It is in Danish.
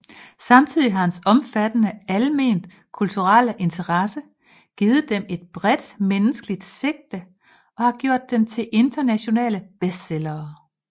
Samtidig har hans omfattende alment kulturelle interesse givet dem et bredt menneskeligt sigte og har gjort dem til internationale bestsellere